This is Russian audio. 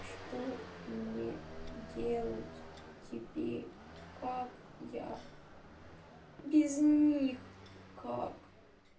что мне делать теперь как я без них как